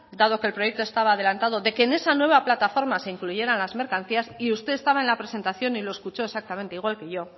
dado que el proyecto estaba adelantado de que en esa nueva plataforma se incluyeran las mercancías y usted estaba en la presentación y lo escuchó exactamente igual que yo